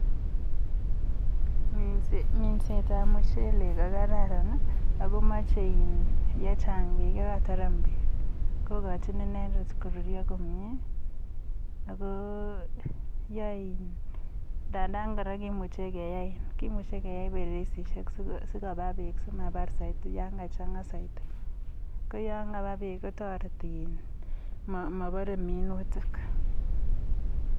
mingset ap mchelek kokararan ako meche kochang peek kokoni icheket koruryo komye komeche kepal mtaroishek simachangit peek saiti simapar ngopa peek komapare mingutik.